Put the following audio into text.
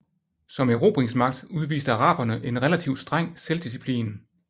Som erobringsmagt udviste araberne en relativt streng selvdisciplin